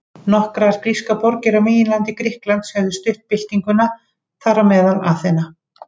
Nokkrar grískar borgir á meginlandi Grikklands höfðu stutt byltinguna, þar á meðal Aþena.